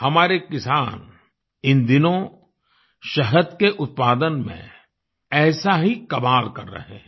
हमारे किसान इन दिनों शहद के उत्पादन में ऐसा ही कमाल कर रहे हैं